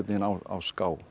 á ská